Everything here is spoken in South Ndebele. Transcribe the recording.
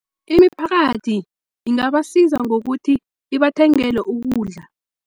Imiphakathi ingabasiza ngokuthi ibathengele ukudla.